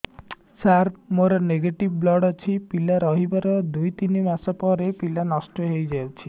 ସାର ମୋର negative blood ଅଛି ପିଲା ରହିବାର ଦୁଇ ତିନି ମାସ ପରେ ପିଲା ନଷ୍ଟ ହେଇ ଯାଉଛି